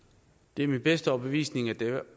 det er min bedste overbevisning at det